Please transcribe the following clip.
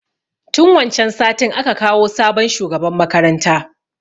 Tun wancan satin a ka kawo sabon shugaban makaranta.